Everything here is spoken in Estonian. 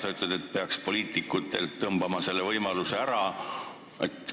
Sa ütled, et poliitikutelt peaks selle võimaluse ära tõmbama.